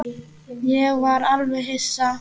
Ég var alveg hissa.